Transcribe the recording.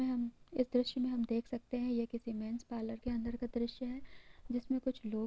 ''हम्म इस दृश्य मे हम देख सकते है ये किसी मेनस पार्लर के अंदर का दृश्य है जिसमे कुछ लोग--''